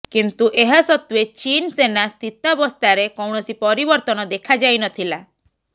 କିନ୍ତୁ ଏହା ସତ୍ତ୍ୱେ ଚୀନ୍ ସେନା ସ୍ଥିତାବସ୍ଥାରେ କୌଣସି ପରିବର୍ତ୍ତନ ଦେଖାଯାଇ ନଥିଲା